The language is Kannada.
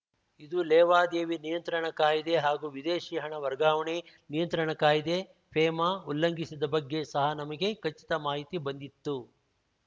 ಇದು ಲೇವಾದೇವಿ ನಿಯಂತ್ರಣ ಕಾಯ್ದೆ ಹಾಗೂ ವಿದೇಶಿ ಹಣ ವರ್ಗಾವಣೆ ನಿಯಂತ್ರಣ ಕಾಯ್ದೆ ಫೇಮಾ ಉಲ್ಲಂಘಿಸಿದ ಬಗ್ಗೆ ಸಹ ನಮಗೆ ಖಚಿತ ಮಾಹಿತಿ ಬಂದಿತ್ತು